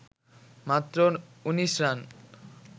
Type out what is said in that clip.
মাত্র ১৯ রান